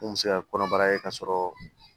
Mun bɛ se ka kɔnɔbara kɛ k'a sɔrɔ